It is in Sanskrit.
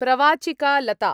प्रवाचिका लता